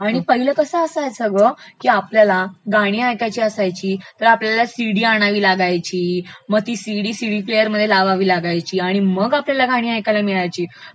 आणि पहिलं कसं असायचं ना ग की आपल्याला गाणी ऐकायची असायची तर आपल्याला सिडी आणायला लागायची मग ती सिडी सिडीप्लेअरमध्ये लावावी लागायची आणि मग आपल्याला गाणी ऐकायला मिळायची